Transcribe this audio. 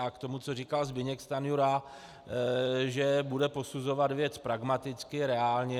A k tomu, co říkal Zbyněk Stanjura, že bude posuzovat věc pragmaticky, reálně.